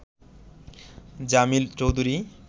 Jamil Chowdhury